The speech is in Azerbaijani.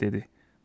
Sabah dedi: